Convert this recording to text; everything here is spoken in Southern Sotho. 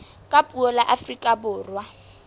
ka puo la afrika borwa